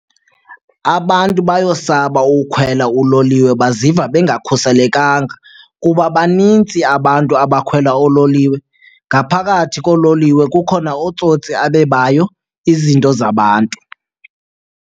Abantu bayosaba ukhwela uloliwe, baziva bengakhuselekanga kuba banintsi abantu abakhwela oololiwe. Ngaphakathi koololiwe kukhona ootsotsi abebayo izinto zabantu.